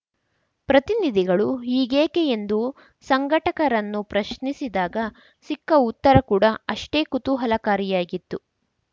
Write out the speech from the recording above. ಪ್ರತಿನಿಧಿಗಳು ಹೀಗೇಕೆ ಎಂದು ಸಂಘಟಕರನ್ನು ಪ್ರಶ್ನಿಸಿದಾಗ ಸಿಕ್ಕ ಉತ್ತರ ಕೂಡ ಅಷ್ಟೇ ಕುತೂಹಲಕಾರಿಯಾಗಿತ್ತು